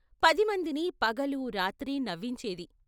పదిమందిని పగలూ రాత్రి నవ్వించేది.